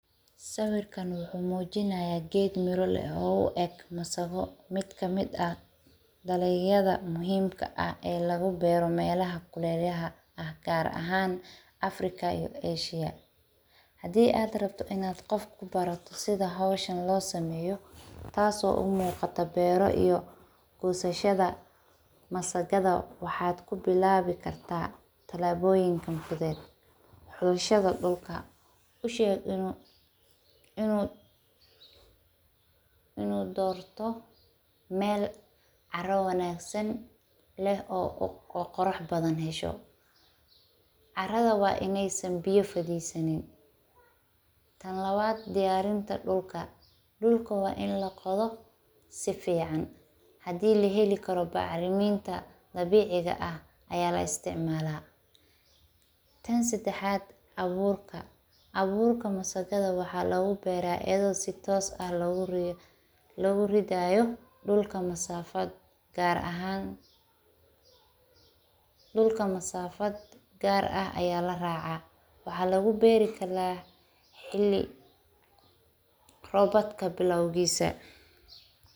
Sawirkan wuxuu muujinaya geed mirole oo u eg masago mid ka mid ah daleyada muhiimka ah ee lagu beero meelaha kuleelyah ah gaar ahaan Africa iyo Asia. Hadii aad rabto inaad qof ku barato sida hawshan loo sameeyo taaso u muuqata beeru iyo kuuseyshada masagada waxaad ku bilaabi kartaa tallaabooyinka kudeer. Xulshada dhulka u sheeg inuu inuu inuu doorto meel caro wanaagsan leh oo oo qorax badan hesho carrada waa inaysan biyo fididsanid. Tan labad diyaarinta dhulka. Dhulka waa in la qodo si fiican. Hadii la heli karo bacriminta dhabiciga ah ayaa la isticmaalaa tan sideexaad awoorka. Awoorka masagada waxaa lagu beeray eedo si toos ah loo loo ridayo dhulka. Masafad gaar ahaan dhulka masafad gaar ah ayaa la raacaa waxaa lagu beeri kala xilli robad ka bilowgiisa.